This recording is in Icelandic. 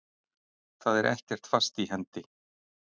Það er ekkert fast í hendi.